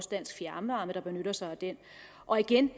dansk fjernvarme der benytter sig af den og igen